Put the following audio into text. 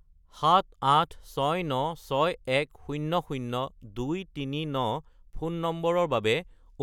78696100239 phone নম্বৰৰ বাবে